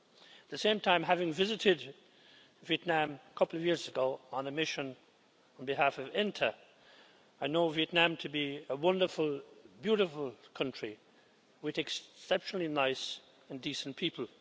At the same time, having visited Vietnam a couple of years ago on a mission on behalf of INTA, I know Vietnam to be a wonderful, beautiful country with exceptionally nice and decent people.